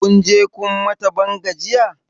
Kunje kun mata ban gajiya?